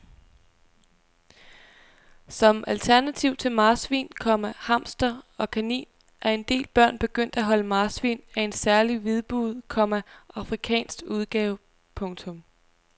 Som alternativ til marsvin, komma hamster og kanin er en del børn begyndt at holde pindsvin af en særlig hvidbuget, komma afrikansk udgave. punktum